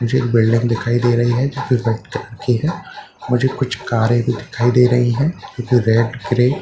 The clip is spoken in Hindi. मुझे एक बिल्डिंग दिखाई दे रही है जो कि रेड कलर की है मुझे कुछ कारें भी दिखाई दे रही हैं जो कि रेड ग्रे --